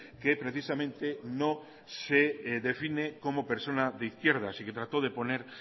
que precisamente no se define como persona de izquierda y que trató de poner